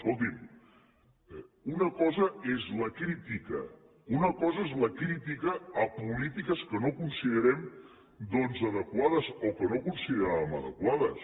escolti’m una cosa és la crítica una cosa és la crítica a polítiques que no considerem doncs adequades o que no consideràvem adequades